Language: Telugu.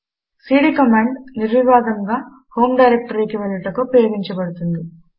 సీడీ కమాండు నిర్వివాదముగా హోం డైరెక్టరీకి వెళ్ళుటకు ఉపయోగించబడుతుంది